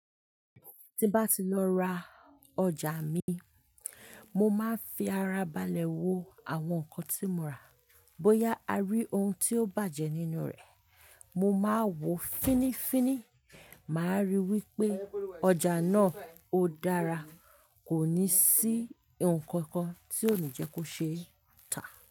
Tí bá ti lọ ra ọjà mi, mo máa ń fi ara balẹ̀ wo àwọn nǹkan tí mo rà. Bóyá a rí ohun tí ó bàjẹ́ nínú rẹ̀, mo máa wò ó fínnífínní, màá rí wípé ọjà náà ó dára, kò ní sí nnkankan tí ó ní jẹ́ kó ṣe tà.